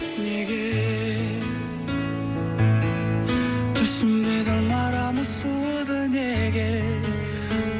неге түсінбедім арамыз суыды неге